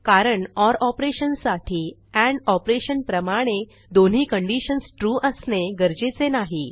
कारण ओर operationसाठी and operation प्रमाणे दोन्ही कंडिशन्स ट्रू असणे गरजेचे नाही